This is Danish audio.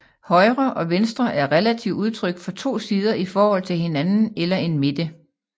Højre og venstre er relative udtryk for to sider i forhold til hinanden eller en midte